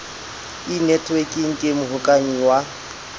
e netwekeng ke mohokahanyi wa